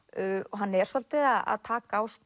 hann er svolítið að taka á